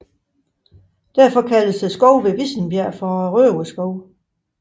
Derfor kaldes skoven ved Vissenbjerg for Røverskoven